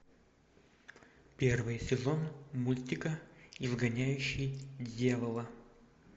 первый сезон мультика изгоняющий дьявола